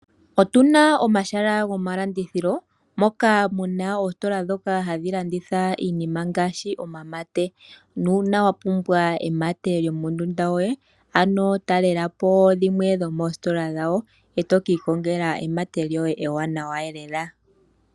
Otuna omahala gomalandithilo moka muna oositola dhoka hadhi landitha iinima ngaashi omamate. Nuuna wa pumbwa emate lyo mondunda yoye, ano talelapo dhimwe dho moositola dhawo.e to ka ikongela emate lyoye ewanawa elela.